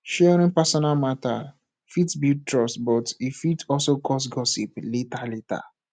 sharing personal matter fit build trust but e fit also cause gossip later later